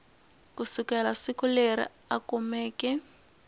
kusukela siku leri a kumeke